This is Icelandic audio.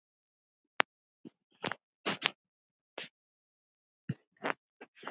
Banvæn leppun.